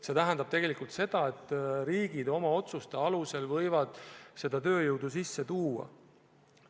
See tähendab seda, et riigid oma otsuste alusel võivad seda tööjõudu sisse tuua.